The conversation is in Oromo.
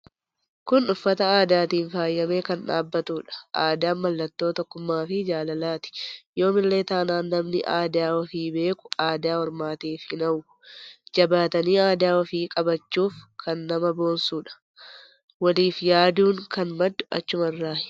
Kun uffata aadatiin faayame kan dhaabbatudha aadaan mallatto tokkummaa fi jaalalaati yoomillee taanan namni aadaa ufii beekuu aadaa ormaatif hin hawwu. Jabaatanii aadaa ufii qabachuuf kan nama boonsudha. Waliif yaadun kan maddu achumarraay.